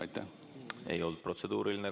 See ei olnud protseduuriline.